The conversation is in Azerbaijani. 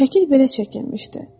Şəkil belə çəkilmişdi.